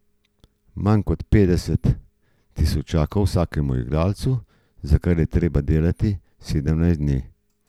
Manj kot petdeset tisočakov vsakemu igralcu, za kar je treba delati sedemnajst dni.